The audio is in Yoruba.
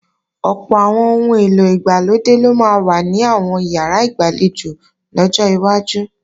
Ọ̀pọ̀ àwọn ohun èlò ìgbàlódé ló máa wà ní àwọn ìyàrá ìgbàlejò lọ́jọ́ iwájú